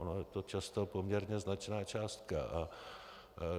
Ona je to často poměrně značná částka.